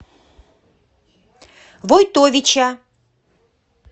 войтовича